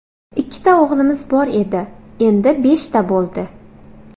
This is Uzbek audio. Ikkita o‘g‘limiz bor edi, endi beshta bo‘ldi.